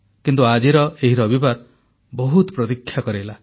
କିନ୍ତୁ ଆଜିର ଏହି ରବିବାର ବହୁତ ପ୍ରତୀକ୍ଷା କରାଇଲା